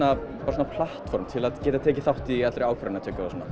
svona platform til að geta tekið þátt í allri ákvarðanatöku og svona